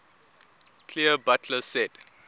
clear butler said